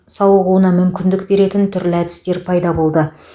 сауығуына мүмкіндік беретін түрлі әдістер пайда болды